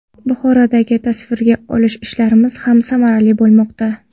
Buxorodagi tasvirga olish ishlarimiz ham samarali bo‘lmoqda.